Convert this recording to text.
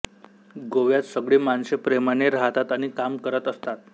गोव्यात सगळी माणसे प्रेमाने राहतात आणि काम करत असतात